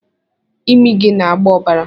Imi gị na-agba ọbara